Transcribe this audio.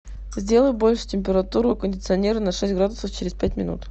сделай больше температуру у кондиционера на шесть градусов через пять минут